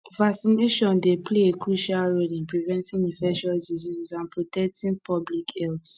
vaccination dey play a crucial role in preventing infectious diseases and protecting public health